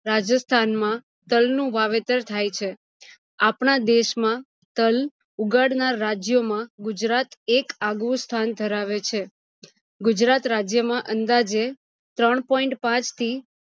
રાજસ્થાન માં તલ નું વાવેતર થાય છે આપણા દેશ માં તલ ઉગાડનાર રાજ્યો માં ગુજરાત એક આગવું સ્થાન ધરાવે છે ગુજરાત રાજ્ય માં અંદાજે ત્રણ point પાંચ થી